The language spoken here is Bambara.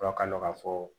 Fura ka dɔn ka fɔ